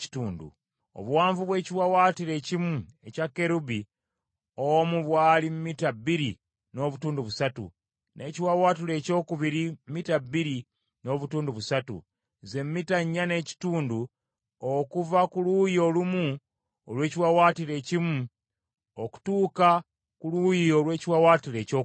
Obuwanvu bw’ekiwaawaatiro ekimu ekya kerubi omu bwali mita bbiri n’obutundu busatu, n’ekiwaawaatiro ekyokubiri mita bbiri n’obutundu busatu, ze mita nnya n’ekitundu okuva ku luuyi olumu olw’ekiwaawaatiro ekimu okutuuka ku luuyi olw’ekiwaawaatiro ekyokubiri.